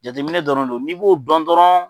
Jateminɛ dɔrɔn no n'i b'o dɔn dɔrɔn